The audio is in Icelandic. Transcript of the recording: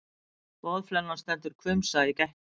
Boðflennan stendur hvumsa í gættinni.